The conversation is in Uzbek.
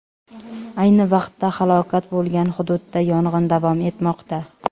Ayni vaqtda halokat bo‘lgan hududda yong‘in davom etmoqda.